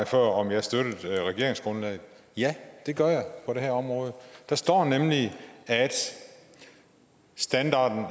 før om jeg støttede regeringsgrundlaget ja det gør jeg på det her område der står nemlig at standarden